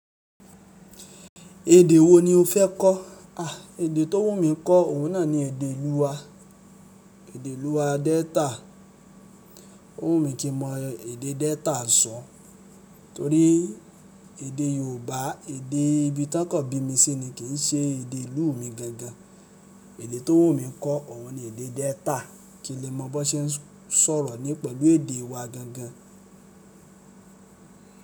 Èdè wo ni o fẹ́ kọ́? À, èdè tó wù mí kọ́ òun náà ni èdè ìlú wa. Èdè ìlú wa Delta. Ó wù mí kí mo mọ èdè Delta sọ. Torí èdè Yorùbá, èdè ibi tí wọ́n kọ̀ bí mi sí ni kì í ṣe èdè ìlú mi gangan. Èdè tó wù mí kọ́ òun ni èdè Delta. Kí lè mọ bó ṣe ń sọ̀rọ̀ ni pẹ̀lú èdè wa gangan.